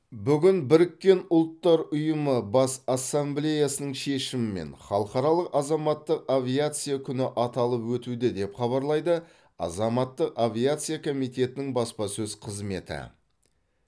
бүгін біріккен ұлттар ұйымы бас ассамблеясының шешімімен халықаралық азаматтық авиация күні аталып өтуде деп хабарлайды азаматтық авиация комитетінің баспасөз қызметі